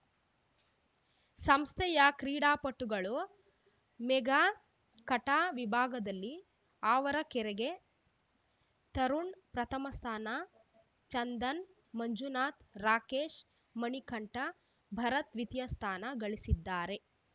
ಸಂಸ್ಥೆಯ ಕ್ರೀಡಾಪಟುಗಳು mega kata ವಿಭಾಗದಲ್ಲಿ ಆವರಗೆರೆಗೆ ತರುಣ್‌ ಪ್ರಥಮ ಸ್ಥಾನ ಚಂದನ್‌ ಮಂಜುನಾಥ ರಾಕೇಶ ಮಣಿಕಂಠ ಭರತ್‌ ದ್ವಿತೀಯ ಸ್ಥಾನ ಗಳಿಸಿದ್ದಾರೆ